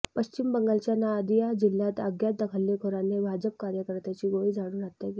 पश्चिङ्क बंगालच्या नादिया जिल्ह्यात अज्ञात हल्लेखोरांनी भाजप कार्यकर्त्याची गोळी झाडून हत्या केली